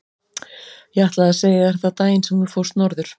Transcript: Ég ætlaði að segja þér það daginn sem þú fórst norður.